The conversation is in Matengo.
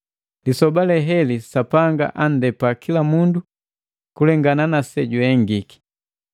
Lisoba leheli Sapanga anndepa kila mundu kulengana na sejuhengi gaki.